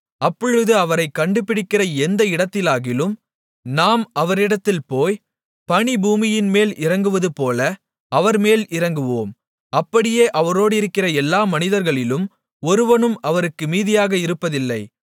அப்பொழுது அவரைக் கண்டுபிடிக்கிற எந்த இடத்திலாகிலும் நாம் அவரிடத்தில் போய் பனி பூமியின்மேல் இறங்குவதுபோல அவர்மேல் இறங்குவோம் அப்படியே அவரோடிருக்கிற எல்லா மனிதர்களிலும் ஒருவனும் அவருக்கு மீதியாக இருப்பதில்லை